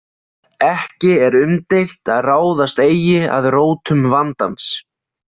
Ekki er umdeilt að ráðast eigi að „rótum vandans“.